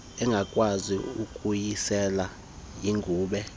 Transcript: engakwazi ukuyisela yigube